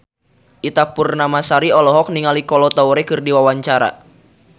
Ita Purnamasari olohok ningali Kolo Taure keur diwawancara